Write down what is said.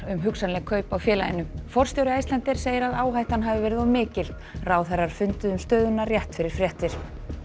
um hugsanleg kaup á félaginu forstjóri Icelandair segir að áhættan hafi verið of mikil ráðherrar funduðu um stöðuna rétt fyrir fréttir